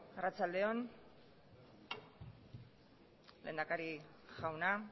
arratsalde on lehendakari jauna